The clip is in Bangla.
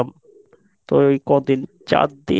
তো এই কদিন চার